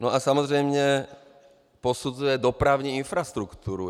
No a samozřejmě posuzuje dopravní infrastrukturu.